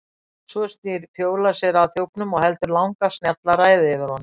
Svo snýr Fjóla sér að þjófnum og heldur langa og snjalla ræðu yfir honum.